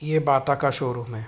ये बाटा का शोरूम है।